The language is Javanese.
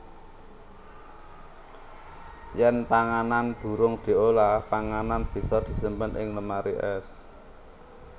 Yèn panganan durung diolah panganan bisa disimpen ing lemari ès